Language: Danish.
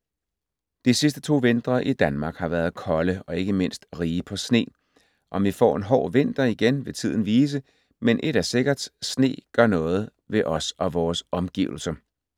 De sidste to vintre i Danmark har været kolde og ikke mindst rige på sne. Om vi får en hård vinter igen vil tiden vise, men ét er sikkert: sne gør noget ved os og vores omgivelser.